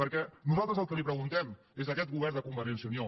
perquè nosaltres al qui li ho preguntem és a aquest govern de convergència i unió